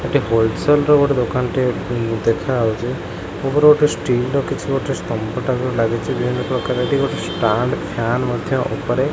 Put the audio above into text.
ଏକ ହୋଲସେଲର ଗୋଟେ ଦୋକାନଟିଏ ଦେଖାଯାଉଛି ଉପରେ ଗୋଟେ ସ୍ଟିଲର କିଛି ସ୍ତମ୍ଭ ଟାଇପର ଲାଗୁଛି ଯେଉପ୍ରକାର କି ଷ୍ଟାଣ୍ଡ ଫ୍ଯନ ମଧ୍ଯ ଉପରେ।